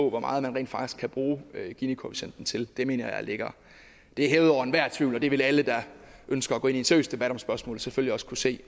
af hvor meget man rent faktisk kan bruge ginikoefficienten til det mener jeg er hævet over enhver tvivl og det vil alle der ønsker at gå ind i en seriøs debat om spørgsmålet selvfølgelig også kunne se